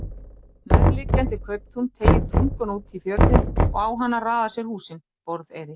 Nærliggjandi kauptún teygir tunguna út í fjörðinn og á hana raða sér húsin: Borðeyri.